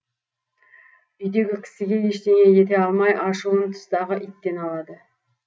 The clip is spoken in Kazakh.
үйдегі кісіге ештеңе ете алмай ашуын тыстағы иттен алады